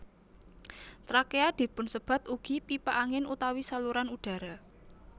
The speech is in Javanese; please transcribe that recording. Trakea dipunsebat ugi pipa angin utawi saluran udara